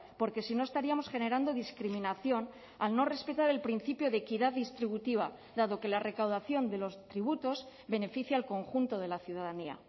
porque si no estaríamos generando discriminación al no respetar el principio de equidad distributiva dado que la recaudación de los tributos beneficia al conjunto de la ciudadanía